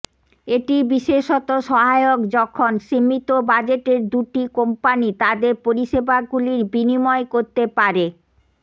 এটি বিশেষত সহায়ক যখন সীমিত বাজেটের দুটি কোম্পানি তাদের পরিষেবাগুলি বিনিময় করতে পারে